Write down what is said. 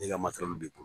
N'i ka masɔrɔ b'i bolo